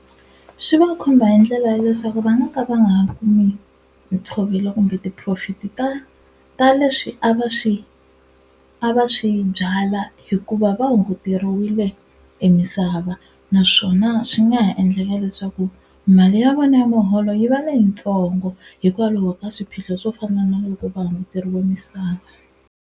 Swi va khumba hi ndlela ya leswaku va nga ka va nga ha kumi ntshovelo kumbe ti-profit-i ta ta leswi a va swi a va swi byala hikuva va hunguteriwile e misava naswona swi nga ha endlela leswaku mali ya vona ya muholo yi va leyitsongo hikwalaho ka swiphiqo swo fana na loko va hunguteriwe misava.